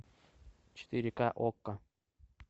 четыре к окко